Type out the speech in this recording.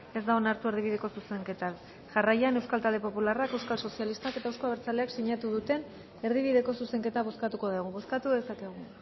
ez da onartu erdibideko zuzenketa jarraian eusko talde popularrak euskal sozialistak eta euzko abertzaleak sinatu duten erdibideko zuzenketa bozkatuko dugu bozkatu dezakegu